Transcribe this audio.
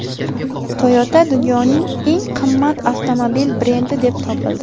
Toyota dunyoning eng qimmat avtomobil brendi deb topildi.